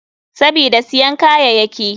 Sabida siyan kayayaki.